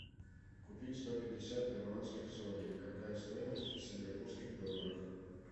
купить сто пятьдесят перуанских солей какая стоимость в сингапурских долларах